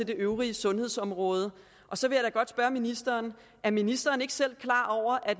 de øvrige sundhedsområder så vil jeg godt spørge ministeren er ministeren ikke selv klar over at